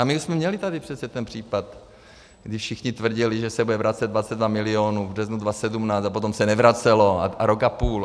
A my jsme měli tady přece ten případ, kdy všichni tvrdili, že se bude vracet 22 milionů v březnu 2017, a potom se nevracelo, rok a půl.